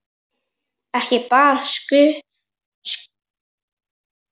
Ekki bar skugga á.